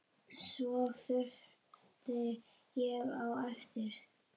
Svo þaut ég á eftir